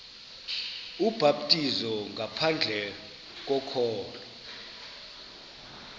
ubhaptizo ngaphandle kokholo